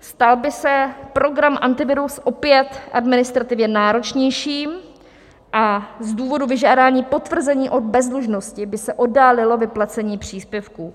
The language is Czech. stal by se program Antivirus opět administrativně náročnějším a z důvodu vyžádání potvrzení o bezdlužnosti by se oddálilo vyplacení příspěvků.